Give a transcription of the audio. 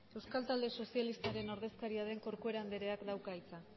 euskal talde sozialistaren ordezkaria den corcuera andereak dauka hitza